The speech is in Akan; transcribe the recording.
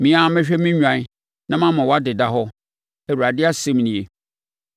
Me ara mɛhwɛ me nnwan na mama wɔadeda hɔ. Awurade asɛm nie.